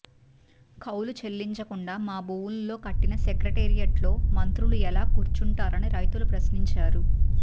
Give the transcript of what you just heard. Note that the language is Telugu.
కౌలు చెల్లించకుండా మా భూముల్లో కట్టిన సెక్రటేరియట్లో మంత్రులు ఎలా కూర్చొంటారని రైతులు ప్రశ్నించారు